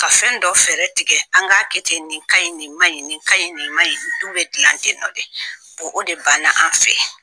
Ka fɛn dɔ fɛɛrɛ tigɛ, an k'a kɛ ten, nin ka ɲi, nin ma ɲi , nin ka ɲi, nin ma ɲi. Du bɛ dilan ten nɔ de, boɔ o de banna an fɛ!